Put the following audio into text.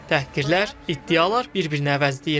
Təhqirlər, iddialar bir-birini əvəzləyir.